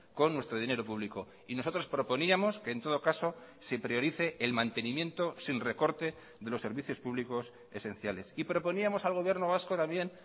con nuestro dinero público y nosotros proponíamos que en todo caso se priorice el mantenimiento sin recorte de los servicios públicos esenciales y proponíamos al gobierno vasco también